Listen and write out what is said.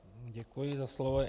Děkuji za slovo.